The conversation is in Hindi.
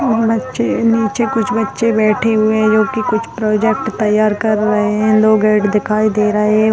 इ इ इ बच्चे निचे कुछ बच्चे बैठे हुए है जो कुछ प्रोजेक्ट तैयार कर रहे है लोग ऐड दिखाई दे रहे है।